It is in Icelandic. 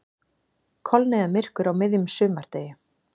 Kolniðamyrkur á miðjum sumardegi